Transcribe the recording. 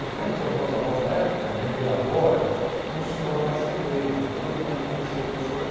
Em frente aos meus avós na época, lembrei agora, tinha um senhor marceneiro, todo mundo o conhecia por senhor